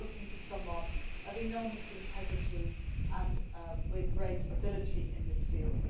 We are looking for someone of enormous integrity and with great ability in this field.